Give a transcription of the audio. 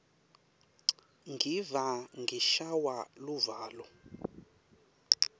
ngiva ngishaywa luvalo